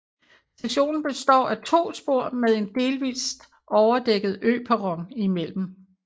Stationen består af to spor med en delvist overdækket øperron imellem